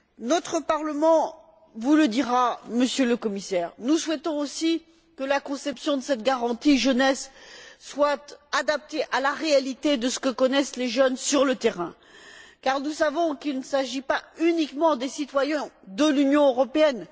Notre Parlement vous le dira, Monsieur le Commissaire, nous souhaitons aussi que la conception de cette garantie jeunesse soit adaptée à la réalité de ce que connaissent les jeunes sur le terrain car nous savons qu'il ne s'agit pas uniquement des citoyens de l'Union européenne.